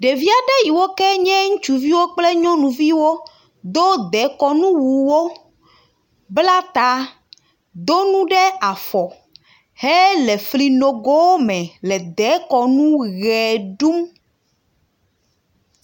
Ɖevi aɖe yiwo ken ye ŋutsuviwo kple nyɔnuviwo do dekɔnu wuwo, bla ta, do nu ɖe afɔ hele fli nogowo me le dekɔnu ʋe ɖum.